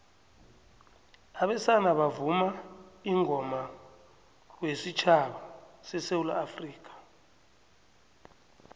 abesana bavuma ingoma wesutjhaba sesewula afrikha